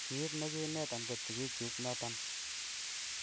Kiit negiinetan kot sigikyuk noton.